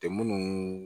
Tɛ munnu